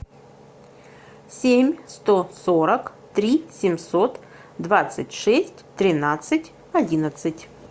семь сто сорок три семьсот двадцать шесть тринадцать одиннадцать